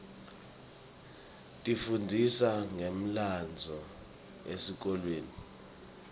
tifundzisa ngemlandvo esikolweni